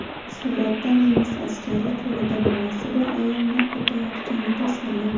Suratda nemis askari qo‘lida bolasi bor ayolni otayotgani tasvirlangan.